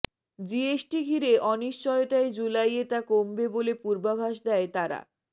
GST ঘিরে অনিশ্চয়তায় জুলাইয়ে তা কমবে বলে পূর্বাভাস দেয় তারা